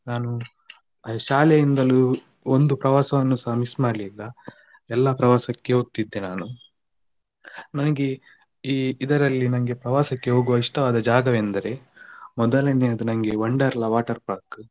ನಾನು ಶಾಲೆಯಿಂದಲೂ ಒಂದು ಪ್ರವಾಸವನ್ನುಸ miss ಮಾಡ್ಲಿಲ್ಲ ಎಲ್ಲ ಪ್ರವಾಸಕ್ಕೆಸ ಹೋಗ್ತಿದ್ದೆ ನಾನು ನನ್ಗೆ ಈ ಇದರಲ್ಲಿ ನನ್ಗೆ ಪ್ರವಾಸಕ್ಕೆ ಹೋಗುವ ಇಷ್ಟವಾದ ಜಾಗವೆಂದರೆ ಮೊದಲನೆಯದು ನನ್ಗೆ Wonderla water park .